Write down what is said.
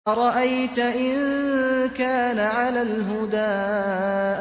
أَرَأَيْتَ إِن كَانَ عَلَى الْهُدَىٰ